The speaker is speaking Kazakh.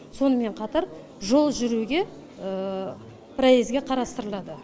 сонымен қатар жол жүруге проездге қарастырылады